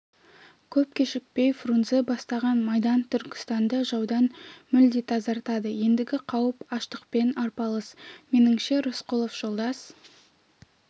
көп кешікпей фрунзе бастаған майдан түркістанды жаудан мүлде тазартады ендігі қауіп аштықпен арпалыс меніңше рысқұлов жолдас